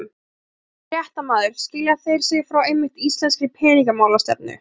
Fréttamaður: Skilja þeir sig frá einmitt íslenskri peningamálastefnu?